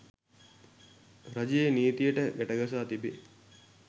රජයේ නීතියට ගැටගසා තිබේ